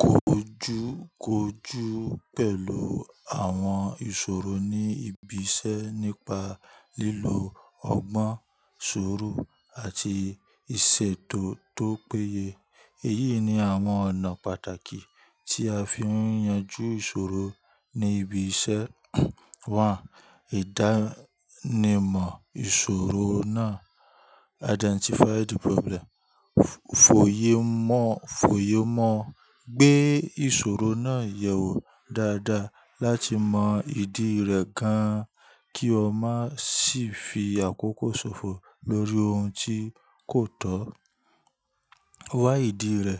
Kó jú kójú pẹ̀lú àwọn ìṣòro ní ibi iṣẹ́ nípa lílo ọgbọ́n, suuru àti ìṣètò tó péye. Èyí ni àwọn ọ̀nà pàtàkì tí a fi ń yanjú ìṣòro ní ibi iṣẹ́. 1. Ìdánimọ̀ ìṣòro náà. Identify the problem. Fòye mọ̀, fòye mọ̀ gbé ìṣòro náà yẹ̀ wò dáadáa láti mọ ìdí rẹ̀ gan kí o má sì fi àkókò ṣòfò lórí ohun tí kò tọ́. Wa idi re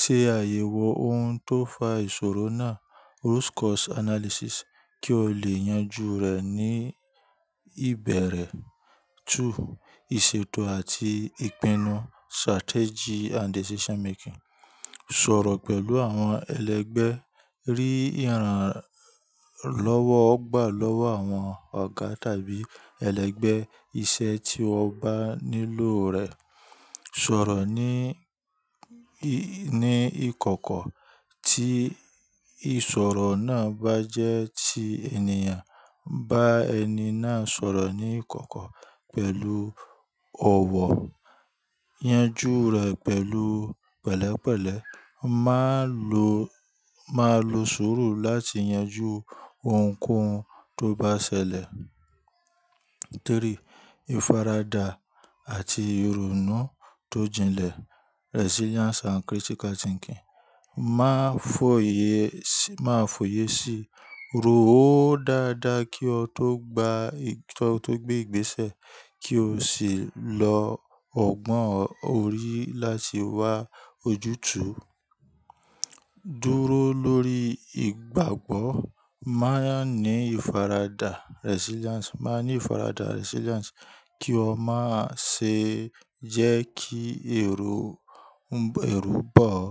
se ayewo oun to fa isoro naa Root cause analysis. Kí o lè yanjú rẹ̀ ní ìbẹ̀rẹ̀. 2. Ìṣètò àti ìpinnu. Strategy and decision making. Sọ̀rọ̀ pẹ̀lú àwọn ẹlẹgbẹ́, rí ìrànlọ́wọ́ gbà lọ́wọ́ àwọn ọ̀gá tàbí ẹlẹgbẹ́ iṣẹ́ tí wọ́n bá nílò rẹ̀. Sọ̀rọ̀ ní, ní ìkọ̀kọ̀ tí ìṣòro náà bá jẹ́ ti ènìyàn, bá ẹni náà sọ̀rọ̀ ní ìkọ̀kọ̀ pẹ̀lú ọ̀wọ̀. Yanjú rẹ̀ pẹ̀lú pẹ̀lẹ́pẹ̀lẹ́. Má lo, má lo sùúrù láti yanjú ohunkóhun tó bá ṣẹlẹ̀. 3. Ìfaradà àti ìrònú tó jinlẹ̀. Resilience and critical thinking. Má fòye, má fòye sí ro ò dáadáa kí o tó gba, kí o tó gbé ìgbésẹ̀ kí o sì lo ọgbọ́n orí láti wá ojútùú. Dúró lórí ìgbàgbọ́. Ma ni ifarada resiliance Má ní ìfaradà. Resilience. Kí o má ṣe jẹ́ kí èrò, èru bọ́ ọ.